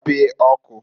Gbapee ọkụǃ